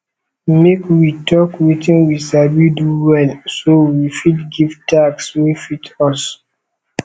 make we talk wetin we sabi do well so we fit give task wey fit us